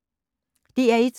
DR1